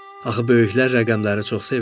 Axı böyüklər rəqəmləri çox sevirlər.